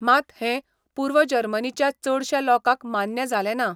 मात, हें, पूर्व जर्मनीच्या चडश्या लोकांक मान्य जालें ना.